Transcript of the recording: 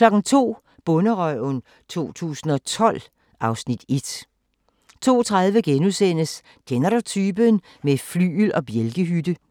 02:00: Bonderøven 2012 (Afs. 1) 02:30: Kender du typen? - med flygel og bjælkehytte *